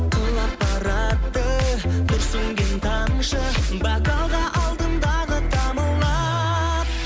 құлап барады күрсінген тамшы бокалға алдындағы тамылып